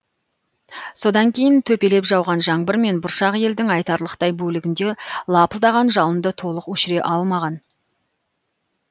содан кейін төпелеп жауған жаңбыр мен бұршақ елдің айтарлықтай бөлігінде лапылдаған жалынды толық өшіре алмаған